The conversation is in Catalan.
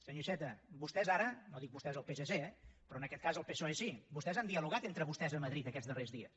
senyor iceta vostès ara no dic vostès el psc eh però en aquest cas el psoe sí han dialogat entre vostès a madrid aquests darrers dies